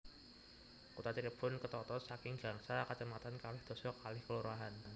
Kutha Cirebon ketata saking gangsal kacamatan kalih dasa kalih kalurahan